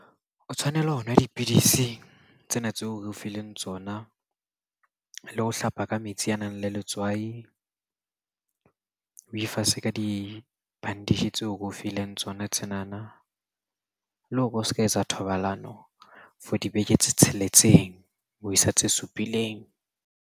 O tshwanela ho nwa dipidisi tsena tseo re fileng tsona le ho hlapa ka metsi a nang le letswai. O ifase ka di- bandage tseo ke o fileng tsona tsenana. Le hore o se ka etsa thobalano for dibeke tse tsheletseng ho isa tse supileng.